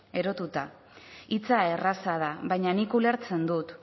erotuta hitza erraza da baina nik ulertzen dut